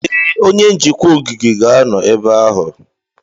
Ee, onye njikwa ogige ga-anọ ebe ahụ.